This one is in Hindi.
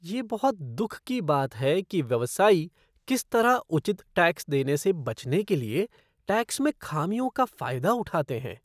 यह बहुत दुख की बात है कि व्यवसायी किस तरह उचित टैक्स देने से बचने के लिए टैक्स में खामियों का फ़ायदा उठाते हैं